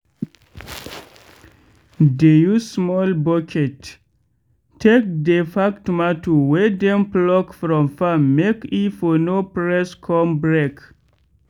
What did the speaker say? dey use small bucket take dey pack tomato wey dem pluck from farm make e for no press con break.